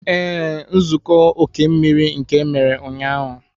Ee, nzukọ oke mmiri nke emere ụnyahụ